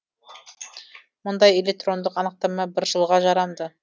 мұндай электрондық анықтама бір жылға жарамды